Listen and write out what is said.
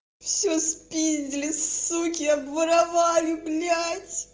всё спиздили суки обворовали блять